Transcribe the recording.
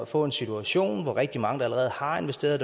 få en situation hvor rigtig mange allerede har investeret